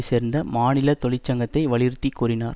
சேர்ந்த மாநில தொழிற்சங்கத்தை வலியுறுத்திக்கூறினார்